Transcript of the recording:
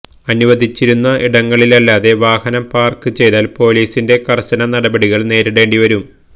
അനുവദിച്ചിരിക്കുന്ന ഇടങ്ങളിലല്ലാതെ വാഹനം പാര്ക്ക് ചെയ്താല് പോലീസിന്റെ കര്ശന നടപടികള് നേരിടേണ്ടി വരും